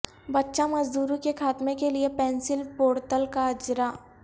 بچہ مزدوری کے خاتمے کیلئے پینسل پورٹل کا اجراء